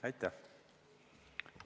Aitäh!